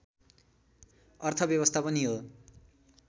अर्थव्यस्था पनि हो